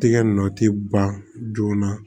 Tɛgɛ nɔ tɛ ban joona